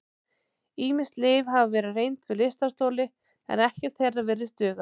Ýmis lyf hafa verið reynd við lystarstoli en ekkert þeirra virðist duga.